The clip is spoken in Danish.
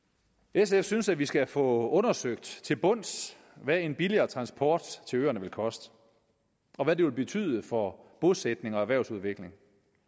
sf synes at vi skal få undersøgt til bunds hvad en billigere transport til øerne vil koste og hvad det vil betyde for bosætning og erhvervsudvikling